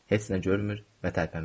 Heç nə görmür və tərpənmirəm.